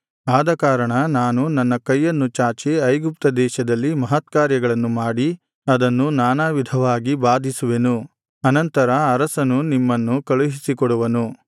ಆದಕಾರಣ ನಾನು ನನ್ನ ಕೈಯನ್ನು ಚಾಚಿ ಐಗುಪ್ತ ದೇಶದಲ್ಲಿ ಮಹತ್ಕಾರ್ಯಗಳನ್ನು ಮಾಡಿ ಅದನ್ನು ನಾನಾ ವಿಧವಾಗಿ ಬಾಧಿಸುವೆನು ಅನಂತರ ಅರಸನು ನಿಮ್ಮನ್ನು ಕಳುಹಿಸಿಕೊಡುವನು